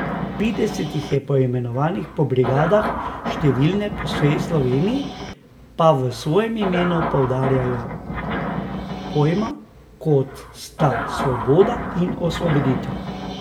Petdeset jih je poimenovanih po brigadah, številne po vsej Sloveniji pa v svojem imenu poudarjajo pojma, kot sta svoboda in osvoboditev.